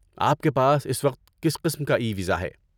آپ کے پاس اس وقت کس قسم کا ای ویزا ہے؟